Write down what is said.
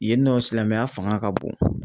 Yen nɔ silamɛya fanga ka bon